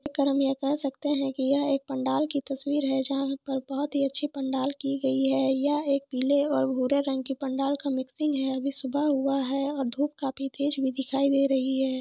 कर हम ये कह सकते है की यह एक पंडाल की तस्वीर ह जहाँ पर बहुत ही अच्छी पंडाल की गयी है यह एक पिले और भूरे रंग की पंडाल का मिक्सिंग है अभी सुबह हुआ है और धुप काफी तेज भी दिखाई दे रही है।